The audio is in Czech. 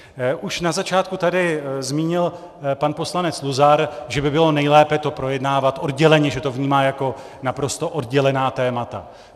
Už na začátku tady zmínil pan poslanec Luzar, že by bylo nejlépe to projednávat odděleně, že to vnímá jako naprosto oddělená témata.